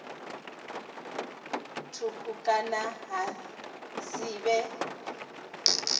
thukhu kana ha si vhe